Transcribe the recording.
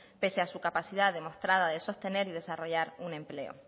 pese a su capacidad demostrada de sostener y desarrollar un empleo